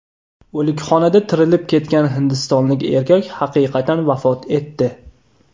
O‘likxonada tirilib ketgan hindistonlik erkak haqiqatan vafot etdi.